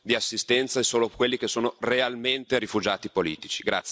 di assistenza, e solo quelli che sono realmente rifugiati politici.